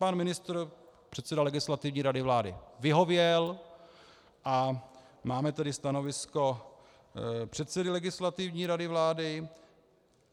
Pan ministr, předseda Legislativní rady vlády vyhověl a máme tady stanovisko předsedy Legislativní rady vlády.